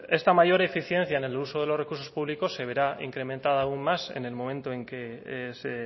esta mayor eficiencia en el uso de los recursos públicos se verá incrementada aún más en el momento en que se